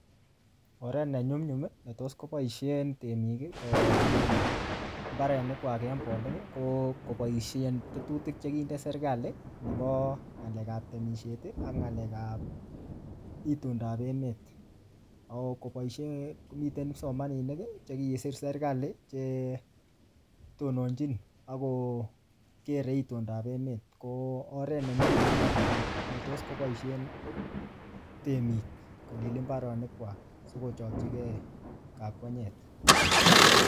Oret ne nyumnyum, ne tos koboisien temik, kolil mbarenik kwak eng bolik, ko koboisen tetutik che kinde serikali, nebo ng'alek ap temisiet, ak ng'alek ap itundop emet. Ako koboisien komiten kipsomaninik che kisir serikali, che tononchin akokere itundob emet. Ko oret ne nyumnyum notok ne tos koboisien temik, kolil mbaronik kwak sikochakchikei kakwenyet